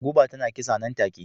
Guba tana kisa nan take..